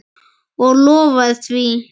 Og lofaði því.